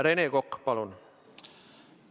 Rene Kokk, palun!